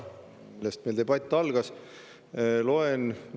Millest meie debatt algas?